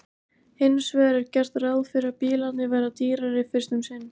hins vegar er gert ráð fyrir að bílarnir verði dýrari fyrst um sinn